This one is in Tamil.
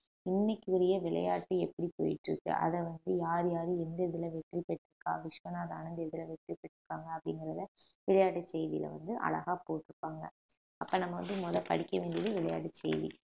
இன்னைக்குறிய விளையாட்டு எப்படி போயிட்டு இருக்கு அத வந்து யார் யாரு எந்த இதுல வெற்றி பெற்று இருக்கா விஸ்வநாத ஆனந் எதுல வெற்றி பெற்று இருகாங்க அப்டிங்கறத விளையாட்டு செய்தியில வந்து அழகா போட்டிருப்பாங்க அப்ப நம்ம வந்து முதல்ல படிக்க வேண்டியது விளையாட்டு செய்தி